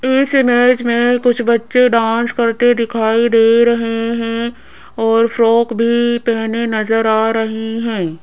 इस इमेज में कुछ बच्चे डांस करते दिखाई दे रहे हैं और फ्रॉक भी पहने नजर आ रही हैं।